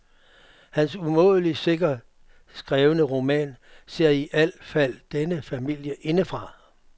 Hans umådeligt sikkert skrevne roman ser i al fald denne familie indefra.